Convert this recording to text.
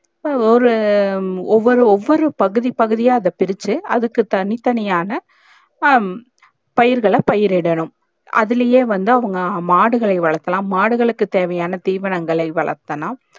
ஒரு ஒவ்வொரு ஒவ்வொரு பகுதி பகுதியாய் அத பிரிச்சி அதுக்கு தனி தனியான ஹம் பயிர்கள பயிர் இடனும் அதுலயே வந்து அவுங்க மாடுகளே வழக்கலாம் மாடுகளுக்கு தேவையான திவனைகளை வழக்கலாம்